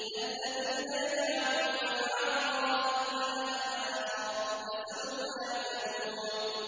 الَّذِينَ يَجْعَلُونَ مَعَ اللَّهِ إِلَٰهًا آخَرَ ۚ فَسَوْفَ يَعْلَمُونَ